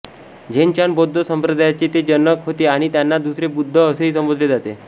Zen Chan बौद्ध संप्रदायाचे ते जनक होते आणि त्यांना दुसरे बुद्ध असेही संबोधले जाते